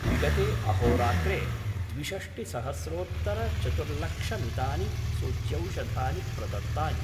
विगते अहोरात्रे द्विषष्टिसहस्रोत्तरचतुर्लक्षमितानि सूच्यौषधानि प्रदत्तानि।